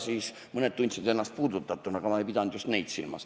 Seepeale tundsid mõned ennast puudutatuna, aga ma ei pidanud just neid silmas.